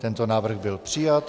Tento návrh byl přijat.